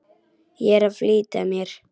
Ég er að flýta mér!